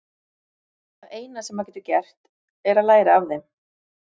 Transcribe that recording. Það eina sem maður getur gert er að læra af þeim.